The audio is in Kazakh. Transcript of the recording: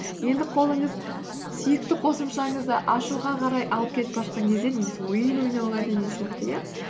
енді қолыңыз сүйікті қосымшаңызды ашуға қарай алып кетіп бара жатқан кезде немесе ойын ойнауға деген сияқты иә